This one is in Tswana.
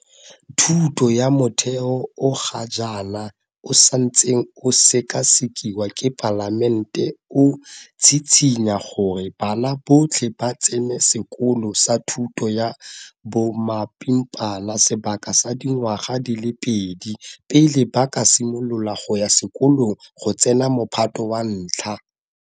Thuto ya Motheo o ga jaana o santseng o sekasekiwa ke Palamente o tshitshinya gore bana botlhe ba tsene sekolo sa thuto ya bomapimpana sebaka sa dingwaga di le pedi pele ba ka simolola go ya sekolong go tsena Mophato wa 1.